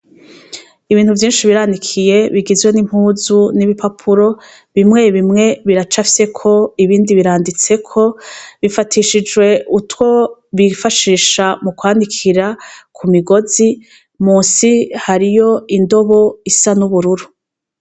Ibintu vyinshi biranikiye bigizwe n'impuzu n'ibipapuro bimwe bimwe biracafyeko ibindi biranditseko, bifatishijwe utwo bifashisha mu kwanikira ku migozi, munsi hariyo indobo isa n'ubururu.